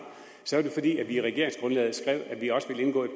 er vi i regeringsgrundlaget skrev at vi også ville indgå i